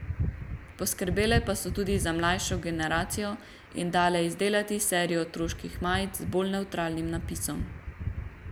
Poskrbele pa so tudi za mlajšo generacijo in dale izdelati serijo otroških majic z bolj nevtralnim napisom.